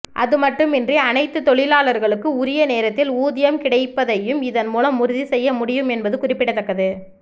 அதுமட்டுமின்றி அனைத்து தொழிலாளர்களுக்கு உரிய நேரத்தில் ஊதியம் கிடைப்பதையும் இதன் மூலம் உறுதி செய்ய முடியும் என்பது குறிப்பிடத்தக்கது